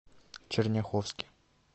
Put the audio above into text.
черняховске